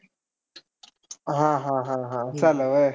हा, हा, हा. असं झालंय व्हय.